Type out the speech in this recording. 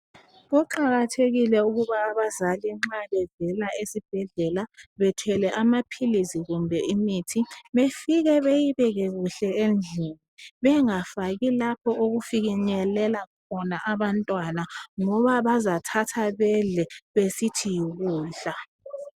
Kuqakathekile ukuba abazali nxa bevela esibhedlela bethwele amaphilisi kumbe imithi befike beyibeke kuhle endlini, bengafaki lapho okufikenyelela abantwana ngoba bazathatha bedle besithi yikudla.